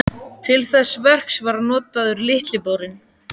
Til þess verks var notaður Litli borinn.